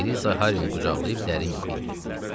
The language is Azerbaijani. Eliza Harrini qucaqlayıb dərin yuxuya getdi.